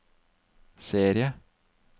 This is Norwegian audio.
serie